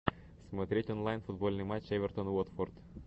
смотреть онлайн футбольный матч эвертон уотфорд